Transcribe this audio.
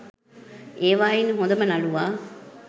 ඒවායින් හොඳම නළුවා